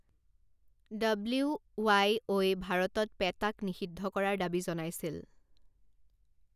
W Y O I ভাৰতত পেটাক নিষিদ্ধ কৰাৰ দাবী জনাইছিল।